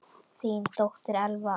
Þín dóttir, Elfa.